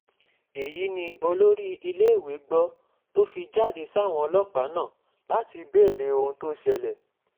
èyí ni olórí iléèwé gbọ́ tó fi jáde sáwọn ọlọ́pàá náà láti béèrè ohun tó ṣẹlẹ̀